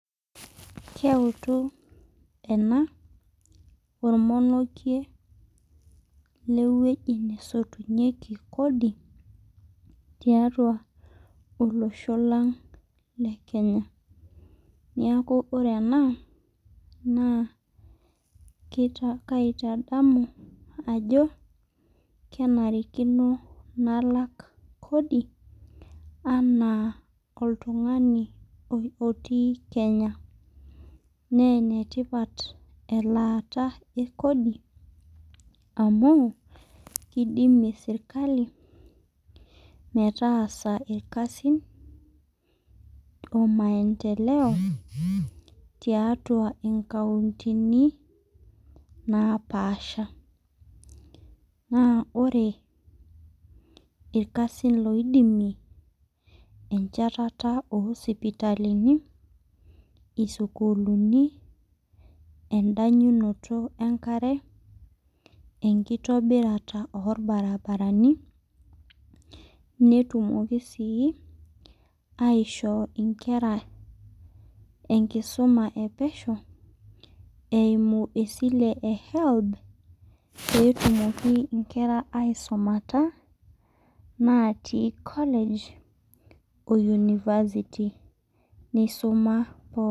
Keutu ena, ormonokie. kewueji nesotunyeki Kodi. tiatua olosho lang le kenya. neeku ore ena naa kaitadamu ajo, kenarikino nalak. kodi anaa oltungani otii kenya. naa ene tipat elaata ekodi, amu kidimie serkali. metaasa irkasin.o maendeleo tiatua inkauntini, naapasha. naa ore irkasin loidimi. enchatata oo sipitalini, isukulini. edanyunoto enkare. enkitobirata olbaribarani. netumoki sii aishoo nkera enkisuma epesho, eimu esile e helb pee etumoki nkera aisumata natii college o university .neisuma